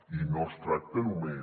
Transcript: i no es tracta només